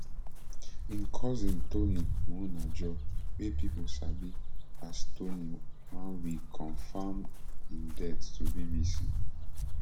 im cousin tony muonagor wey pipo sabi as tony oneweek confam im death to bbc